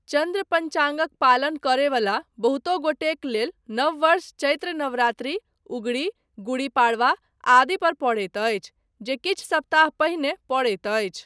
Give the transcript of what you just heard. चन्द्र पञ्चाङ्गक पालन करयवला बहुतो गोटेक लेल नव वर्ष चैत्र नवरात्रि, उगड़ी, गुडी पाडवा आदि पर पड़ैत अछि, जे किछु सप्ताह पहिने पड़ैत अछि।